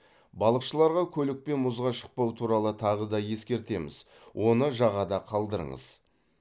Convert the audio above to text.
балықшыларға көлікпен мұзға шықпау туралы тағы да ескертеміз оны жағада қалдырыңыз